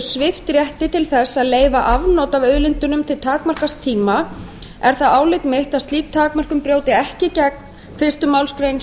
svipt rétti til þess að leyfa afnot af auðlindunum til takmarkaðs tíma er það álit mitt að slík takmörkun brjóti ekki gegn fyrstu málsgrein